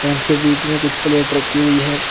इनके बीच में कुछ प्लेट रखी हुई है।